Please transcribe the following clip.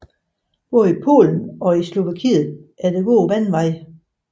Både i Polen og i Slovakiet er der gode vandreveje